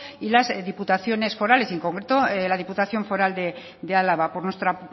y las diputaciones forales y en concreto la diputación foral de álava por nuestra